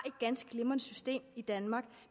ganske glimrende system i danmark